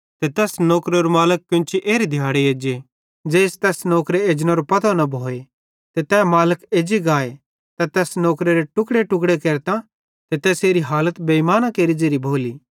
ते तैस नौकरेरो मालिक केन्ची एरे दिहाड़े एज्जे ज़ेइस तैस नौकरे एजनेरो पतो न भोए ते तै मालिक एज्जी गाए त तैस नौकरेरे टुकेटुके केरतां ते तैसेरी हालत बेइमाना केरि ज़ेरी भोली